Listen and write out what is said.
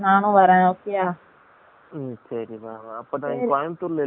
அபொ கோயம்பத்தூர் ல இல்லயா இபோ